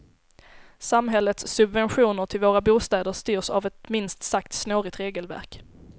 Samhällets subventioner till våra bostäder styrs av ett minst sagt snårigt regelverk.